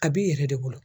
A b'i yɛrɛ de bolo